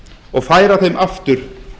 og færa þeim aftur